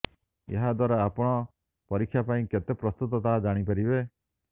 ଏହା ଦ୍ୱାରା ଆପଣ ପରୀକ୍ଷା ପାଇଁ କେତେ ପ୍ରସ୍ତୁତ ତାହା ଜାଣି ପାରିବେ